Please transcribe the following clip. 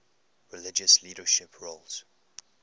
religious leadership roles